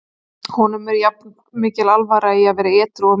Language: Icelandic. Honum er jafn mikil alvara í að vera edrú og mér.